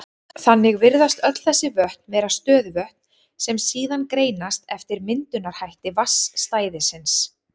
Þannig virðast öll þessi vötn vera stöðuvötn, sem síðan greinast eftir myndunarhætti vatnsstæðisins.